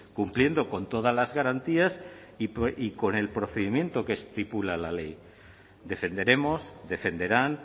cumpliendo con todas las garantías y con el procedimiento que estipula la ley defenderemos defenderán